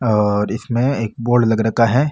और इसमें एक बोर्ड लग रखा है।